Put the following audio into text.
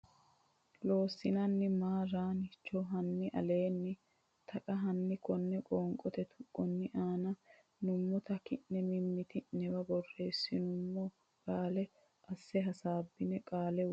Loossinanni maa raan cho hanni aleenni taqa Hanni konne qoonqote tuqqonni aana nummota ki ne mimmiti newa borreessumo mma qaale asse hasaabbine qaalla woshshe.